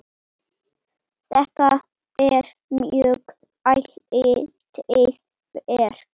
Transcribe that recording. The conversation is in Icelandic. Þetta er mjög áleitið verk.